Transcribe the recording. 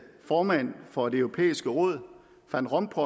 formand for det europæiske råd van rompuy